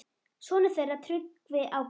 Sonur þeirra Tryggvi Ágúst.